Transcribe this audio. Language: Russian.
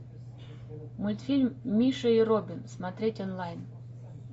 мультфильм миша и робин смотреть онлайн